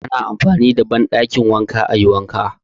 Ana amfani da banɗakin wanka ayi wanka